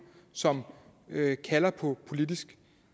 som kalder på politisk